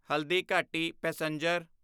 Haldighati passenger